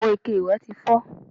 Àwọn ike ìwẹ̀ ti fọ́